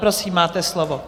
Prosím, máte slovo.